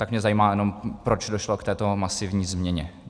Tak mě zajímá jenom, proč došlo k této masivní změně.